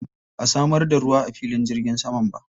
Ba a samar da ruwa a filin jirgin saman ba.